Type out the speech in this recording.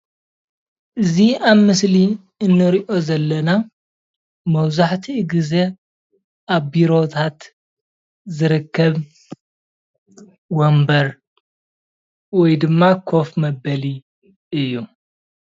እዚ ኣብዚ ምስሊ ንሪኦ ዘለና መብዛሕቲኡ ግዘ ኣብ ቢሮታት ዝርከብ ወንበር ወይ ድማ ኮፍ መበሊ እዩ።